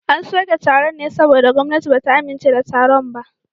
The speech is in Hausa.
An soke taron ne saboda gwamnati ba ta amince da taron ba